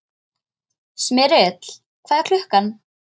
Smyrill, hvað er klukkan?